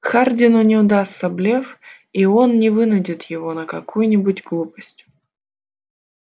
хардину не удастся блеф и он не вынудит его на какую-нибудь глупость